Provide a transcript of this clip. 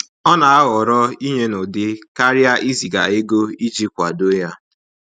Ọ na aghọrọ inye n'ụdị karịa iziga ego iji kwado ya